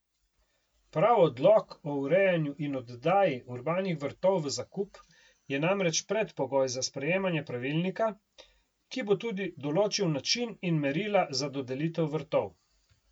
Prav odlok o urejanju in oddaji urbanih vrtov v zakup je namreč predpogoj za sprejemanje pravilnika, ki bo tudi določil način in merila za dodelitev vrtov.